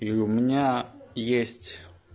и у меня есть